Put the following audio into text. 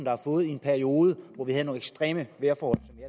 har fået i en periode hvor vi havde nogle ekstreme vejrforhold